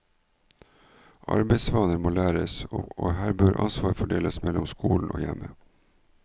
Arbeidsvaner må læres, og her bør ansvaret fordeles mellom skolen og hjemmet.